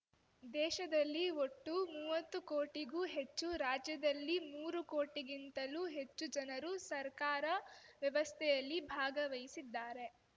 ದೇಶದಲ್ಲಿ ಒಟ್ಟು ಮುವ್ವತ್ತು ಕೋಟಿಗೂ ಹೆಚ್ಚು ರಾಜ್ಯದಲ್ಲಿ ಮೂರು ಕೋಟಿಗಿಂತಲೂ ಹೆಚ್ಚು ಜನರು ಸರ್ಕಾರ ವ್ಯವಸ್ಥೆಯಲ್ಲಿ ಭಾಗಿವಹಿಸಿದ್ದಾರೆ